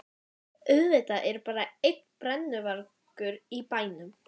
Auðvitað er bara einn brennuvargur í bænum!